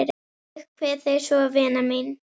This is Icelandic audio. Ég kveð þig svo vina mín.